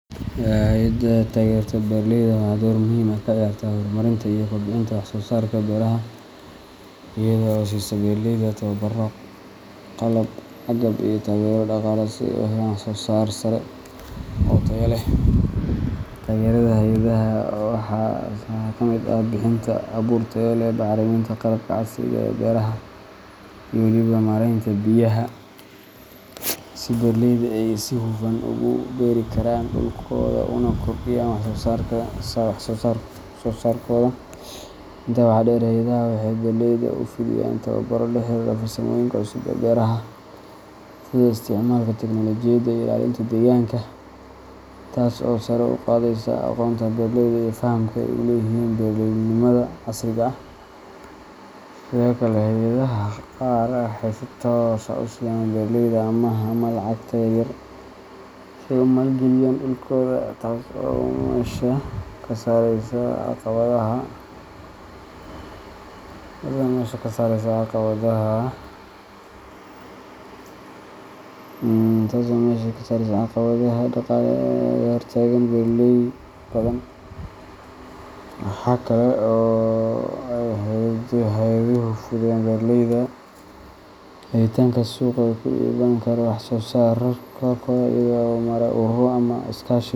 Hey’ada taageerta beeraleyda waxay door muhiim ah ka ciyaartaa horumarinta iyo kobcinta wax-soo-saarka beeraha iyada oo siisa beeraleyda tababarro, qalab, agab, iyo taageero dhaqaale si ay u helaan wax-soo-saar sare oo tayo leh. Taageerada hey’adaha waxaa ka mid ah bixinta abuur tayo leh, bacriminta, qalabka casriga ah ee beeraha, iyo weliba maaraynta biyaha, si beeraleyda ay si hufan ugu beeri karaan dhulkooda una kordhiyaan wax-soo-saarkooda. Intaa waxaa dheer, hey’adaha waxay beeraleyda u fidiyaan tababaro la xiriira farsamooyinka cusub ee beeraha, sida isticmaalka teknoolojiyadda iyo ilaalinta deegaanka, taas oo sare u qaadaysa aqoonta beeraleyda iyo fahamka ay u leeyihiin beeraleynimada casriga ah. Sidoo kale, hey’adaha qaar waxay si toos ah u siiyaan beeraleyda amaah ama lacagta yar-yar si ay u maal-geliyaan dhulkooda, taas oo meesha ka saaraysa caqabadaha dhaqaale ee hor taagan beeraley badan. Waxa kale oo ay hey’aduhu u fududeeyaan beeraleyda helitaanka suuqyo ay ku iibin karaan wax-soo-saarkooda, iyagoo u maraya ururro ama iskaashi.